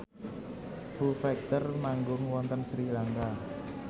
Foo Fighter manggung wonten Sri Lanka